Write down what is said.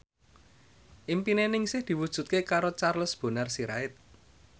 impine Ningsih diwujudke karo Charles Bonar Sirait